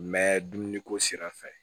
Mɛ dumuniko sira fɛ